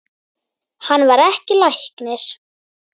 Hann var ekki læknir.